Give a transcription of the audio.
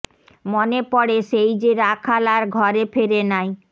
মনে পড়ে সেই যে রাখাল আর ঘরে ফেরে নাই